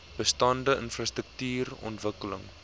bestaande infrastruktuuren ontwikkeling